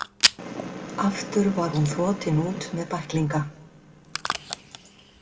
Aftur var hún þotin út með bæklinga.